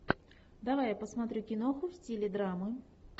давай я посмотрю киноху в стиле драмы